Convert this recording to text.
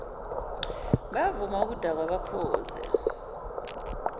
bayavama ukudakwa baphuza